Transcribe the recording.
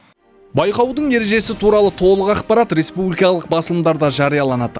байқаудың ережесі туралы толық ақпарат республикалық басылымдарда жарияланады